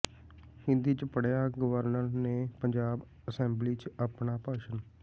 ਹਿੰਦੀ ਚ ਪੜ੍ਹਿਆ ਗਵਰਨਰ ਨੇ ਪੰਜਾਬ ਅਸੈਂਬਲੀ ਚ ਆਪਣਾ ਭਾਸ਼ਣ